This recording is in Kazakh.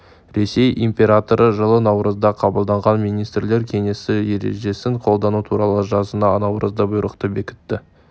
ресей императоры жылы наурызда қабылданған министрлер кеңесінің ережесін қолдану туралы жылы наурызда бұйрықты бекітті